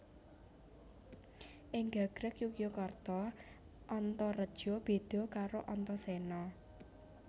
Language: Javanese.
Ing gagrag Jogjakarta Antareja béda karo Antasena